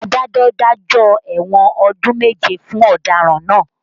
Adájọ́ dájọ́ ẹ̀wọ̀n ọdún méje fún ọ̀daràn náà